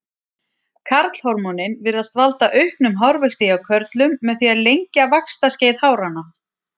Karlhormónin virðast valda auknum hárvexti hjá körlum með því að lengja vaxtarskeið háranna.